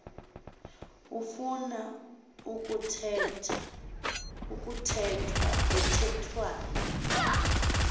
afuna kuthethwa thethwane